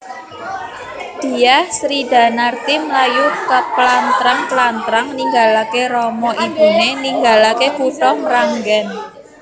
Dyah Sridanarti mlayu keplantrang plantrang ninggalaké rama ibuné ninggalaké kutha Mranggèn